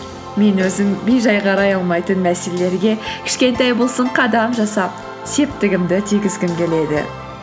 мен өзім бейжай қарай алмайтын мәселелерге кішкентай болсын қадам жасап септігімді тигізгім келеді